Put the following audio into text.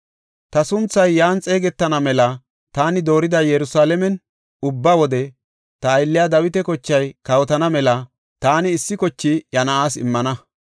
Ta sunthay yan xeegetana mela taani doorida Yerusalaamen, ubba wode ta aylliya Dawita kochay kawotana mela taani issi koche iya na7aas immana.